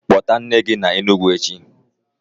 Kpota nne gi na Enugu echi?